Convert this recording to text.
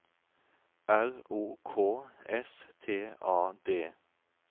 R O K S T A D